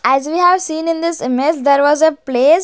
As we have seen in this image there was a place.